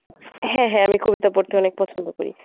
হ্যাঁ হ্যাঁ আমি কবিতা পড়তে অনেক পছন্দ করি।